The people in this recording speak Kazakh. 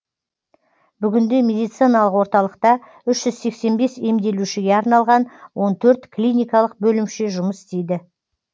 бүгінде медициналық орталықта үш жүз сексен бес емделушіге арналған он төрт клиникалық бөлімше жұмыс істейді